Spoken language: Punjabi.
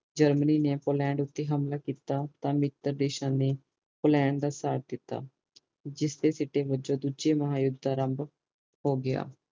ਜਰਮਨੀ ਨੇ ਪੋਲੈਂਡ ਤੇ ਹਮਲਾ ਕੀਤਾ ਤਾਂ ਮਿੱਤਰ ਦੇਸ਼ਾਂ ਨੇ ਪੋਲੈਂਡ ਦਾ ਸਾਥ ਦਿਤਾ ਜਿਸਦੇ ਸਿੱਟੇ ਵਜੋਂ ਦੂਸਰੇ ਮਹਾ ਯੂੱਧ ਦਾ ਆਰੰਭ ਹੋਗਿਆ